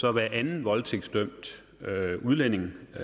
er hver anden voldtægtsdømt udlænding med